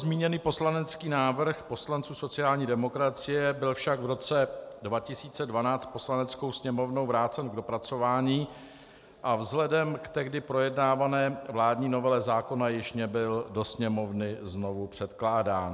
Zmíněný poslanecký návrh poslanců sociální demokracie byl však v roce 2012 Poslaneckou sněmovnou vrácen k dopracování a vzhledem k tehdy projednávané vládní novele zákona již nebyl do Sněmovny znovu předkládán.